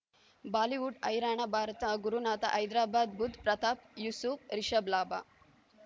Bollywood ಹೈರಾಣ ಭಾರತ ಗುರುನಾಥ ಹೈದರಾಬಾದ್ ಬುಧ್ ಪ್ರತಾಪ್ ಯೂಸುಫ್ ರಿಷಬ್ ಲಾಭ